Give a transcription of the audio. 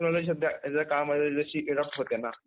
technology शब्द जर